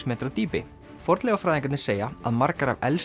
metra dýpi fornleifafræðingarnir segja að margar af elstu